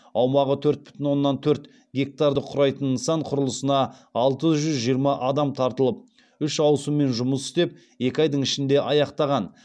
аумағы төрт бүтін оннан төрт гектарды құрайтын нысан құрылысына алты жүз жиырма адам тартылып үш ауысыммен жұмыс істеп екі айдың ішінде аяқтаған